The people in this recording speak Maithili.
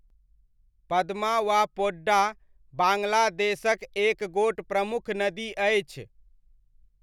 पद्मा वा पोड्डा बाङ्ग्लादेशक एक गोट प्रमुख नदी अछि।